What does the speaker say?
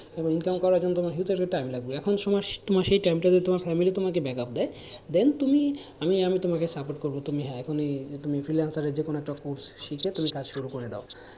এবং income করার জন্য তোমার huge একটা time লাগবে, এখন তোমার সেই time টাতে তোমার family তোমাকে backup দেয় then তুমি আমি আমি তোমাকে support করব যে হ্যাঁ তুমি freelancer এর যে কোন একটা course শিখে তুমি কাজ শুরু করে দাও,